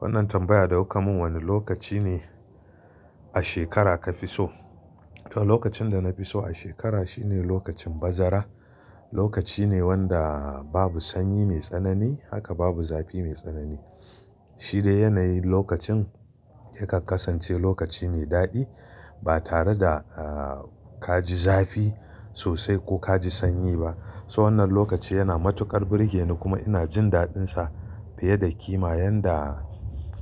Wannan tambaya da kuka mun wane lokaci ne a shekara kafi so? To lokacin da na fi so a shekara shine lokacin bazara. Lokaci ne wanda babu sanyi mai tsanani haka babu zafi mai tsanani. Shi da yanayin lokacin ya kan kasance lokaci mai daɗi ba tare da eh kaji zafi sosai ko kaji sanyi ba. To wannan lokaci yana matuƙar burge ni kuma ina jin daɗinsa fiye da kima yanda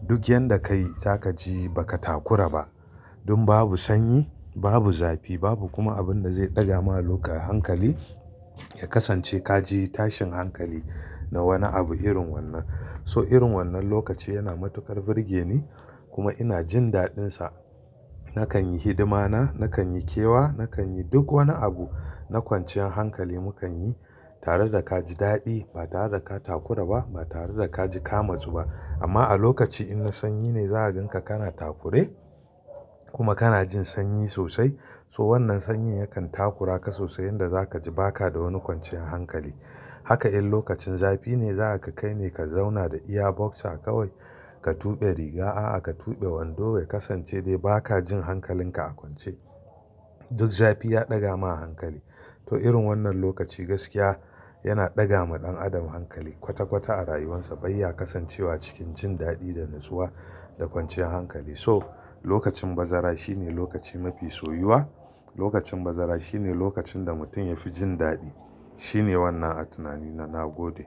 duk yanda kai zaka ji baka takura ba. Dun babu sanyi, babu zafi babu kuma abinda zai ɗaga ma loka hankali ya kasance kaji tashin hankali na wani abu irin wannan. So irin wannan lokaci yana matuƙar burge ni kuma ina jin daɗinsa. Nakan yi hidima na, nakan yi kewa, nakan yi duk wani abu na kwanciyan hankali mukan yi tare da kaji daɗi ba tare da ka takura ba ba tare da kaji kamatsu ba. Amma a lokaci inna sanyi ne za ka ganka kana takure kuma kana jin sanyi sosai. To wannan sanyin yakan takura ka sosai yanda zaka ji baka da wani kwanciyan hankali. Haka in lokacin zafi ne za ga kai ne ka zauna da iya boxer kawai ka tuɓe riga a'a ka tuɓe wando ya kasance dai baka jin hankalin ka a kwance. Duk zafi ya ɗaga ma hankali. To irin wannan lokaci gaskiya yana ɗaga ma ɗan adam hankali kwata kwata a rayuwarsa bai ya kasance wa cikin jin daɗi da natsuwa da kwanciyan hankali. So lokacin bazara shine lokaci mafi soyuwa. Lokacin bazara shine lokacin da mutum yafi jin daɗi. Shine wannan a tunani na, na gode.